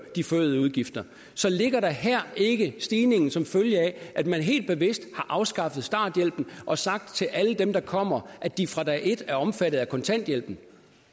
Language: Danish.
de forøgede udgifter så ligger der her ikke en stigning som følge af at man helt bevidst har afskaffet starthjælpen og sagt til alle dem der kommer at de fra dag et er omfattet af kontanthjælpen